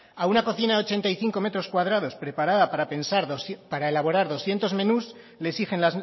a una cocina de ochenta y cinco metros cuadrados para elaborar doscientos menús le exigen